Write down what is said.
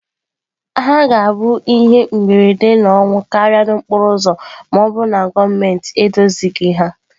Ha ga-abụ ihe mberede na ọnwụ karịa n'okporo ụzọ ma ọ bụrụ na gọọmentị edozighị ha.